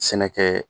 Sɛnɛkɛ